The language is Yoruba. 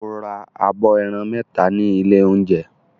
O ra abọ́ ẹran mẹ́ta ní ilé-oúnjẹ?